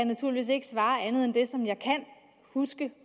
naturligvis ikke svare andet end det som jeg kan huske